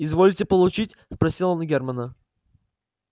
изволите получить спросил он германна